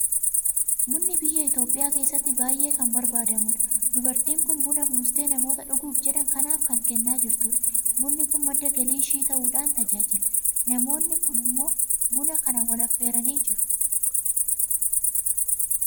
Bunni Biyya Itoophiyaa keessatti baay'ee kan barbaadamudha. Dubartiin kun buna buustee namoota dhuguuf jedhan kanaaf kan kennaa jirtudha. Bunni kun madda galii ishii ta'uudhaan tajaajila. Namoonni kun immoo buna kana wal affeeranii jiru.